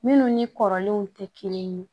Minnu ni kɔrɔlenw tɛ kelen ye